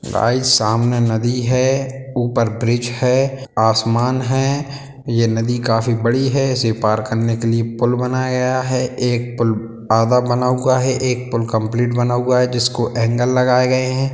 Guys सामने नदी है उपर ब्रिज है आसमान है ये नदी काफी बड़ी है इसे पार करने के लिए पुल बनाया है एक पुल आधा बना हुआ है एक पुल कम्पलीट बना हुआ है जिसको एंगल लगाए गए हैं।